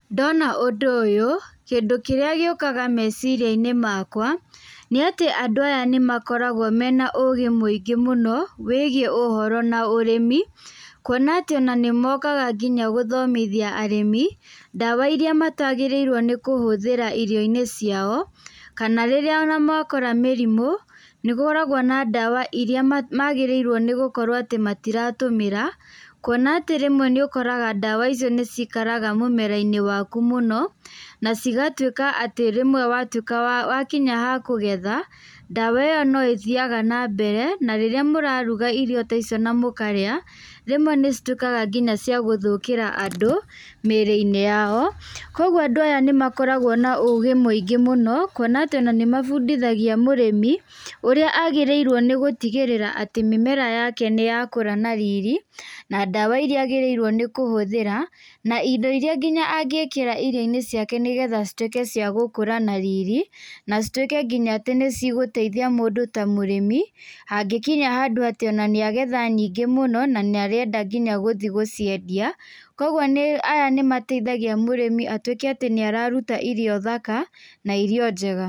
Ndona ũndũ ũyũ, kĩndũ kĩrĩa gĩũkaga meciria-inĩ makwa, nĩ atĩ andũ aya nĩ makoragwo mena ũgĩ mũingĩ mũno wĩgiĩ ũhoro na ũrĩmi, kwona atĩ nĩ mokaga nginya gũthomithia arĩmi, ndawa iria matagĩrĩirwo nĩ kũhũthĩra irio-inĩ ciao, kana rĩrĩa ona makora mĩrimũ, nĩ gũkoragwo na ndawa iria magĩrĩirwo nĩ gũkorwo atĩ matiratũmĩra, kwona atĩ rĩmwe nĩ ũkoraga ndawa icio nĩ cikaraga mũmera-inĩ waku mũno, na cigatuĩka atĩ rĩmwe watuĩka nĩ wakinya hakũgetha, ndawa ĩyo no ĩthiaga nambere, na rĩrĩa mũraruga irio taicio na mũkarĩa, rĩmwe cituĩkaga cia gũthũkĩra andũ mĩĩrĩ-inĩ yao. Koguo andũ aya nĩ makoragwo na ũgĩ mũingĩ mũno, kwona atĩ nĩ mabundithagia mũrĩmi ũrĩa agĩrĩirwo nĩ gũtigĩrĩra atĩ mĩmera yake nĩ yakũra na riri, na ndawa iria agĩrĩirwo nĩ kũhũthĩra, na indo iria angĩkĩra nginya irio-inĩ ciake nĩgetha cituĩke cia gũkũra na riri, na cituĩke nginya nĩ cigũteithia mũndũ ta mũrĩmi, hangĩkinya handũ atĩ nĩ agetha nyingĩ mũno na nĩ arenda nginya gũthiĩ gũciendia. Koguo aya nĩ mateithagia mũrĩmi atuĩke nĩ araruta irio thaka, na irio njega.